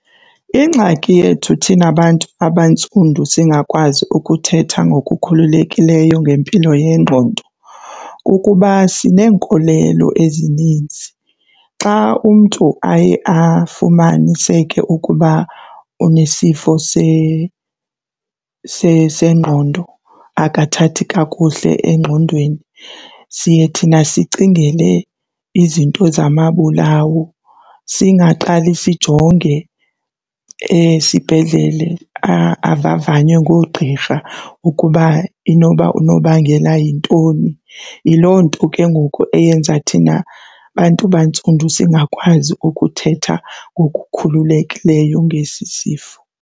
Ingxaki yethu thina bantu abantsundu singakwazi ukuthetha ngokukhululekileyo ngempilo yengqondo kukuba sineenkolelo ezininzi. Xa umntu aye afumaniseke ukuba unesifo sengqondo, akathathi kakuhle engqondweni, siye thina sicingele izinto zamabulawo singaqali sijonge esibhedlele avavanywe ngoogqirha ukuba inoba unobangela yintoni. Yiloo nto ke ngoku eyenza thina bantu bantsundu singakwazi ukuthetha ngokukhululekileyo ngesi sifo.